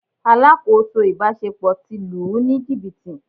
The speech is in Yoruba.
Alákòóso ìbáṣepọ̀ ti lù ú ní jìbìtì.